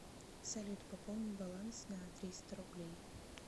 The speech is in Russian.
салют пополни баланс на триста рублей